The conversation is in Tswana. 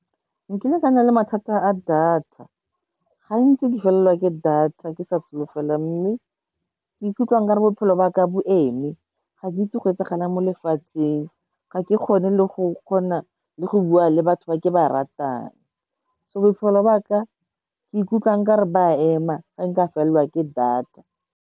Nkile ka na le mathata a data, gantsi ke felelwa ke data ke sa solofela, mme ke ikutlwa nkare bophelo ba ka bo eme, ga ke itse go etsagalang mo lefatsheng, ga ke kgone le go kgona, le go bua le batho ba ke ba ratang. So bophelo ba ka, ke ikutlwa nka re ba ema, ga nka felelwa ke data.